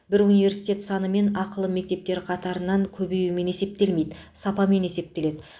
бұл университет санымен ақылы мектептер қатарының көбеюімен есептелмейді сапамен есептеледі